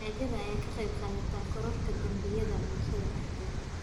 Gaajada ayaa ka qayb qaadata kororka dambiyada bulshada dhexdeeda.